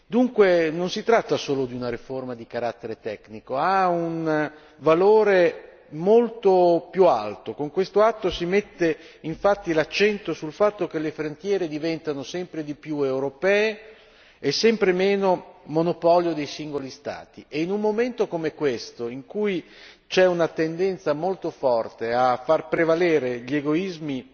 Dunque, non si tratta solo di una riforma di carattere tecnico, ha un valore molto più alto, con questo atto si mette infatti l'accento sul fatto che le frontiere diventano sempre di più europee e sempre meno monopolio dei singoli Stati e in un momento come questo in cui c'è una tendenza molto forte a far prevalere gli egoismi